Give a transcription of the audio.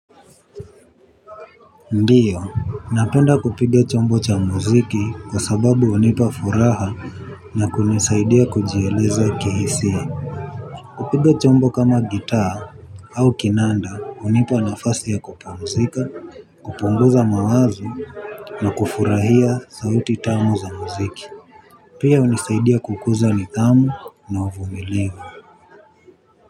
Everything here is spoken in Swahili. Ndiyo, napenda kupiga chombo cha muziki kwa sababu hunipa furaha na kunisaidia kujieleza kihisia. Kupiga chombo kama gitaa au kinanda hunipa nafasi ya kupumzika, kupunguza mawazo na kufurahia sauti tamu za muziki. Pia hunisaidia kukuza nidhamu na uvumilivu.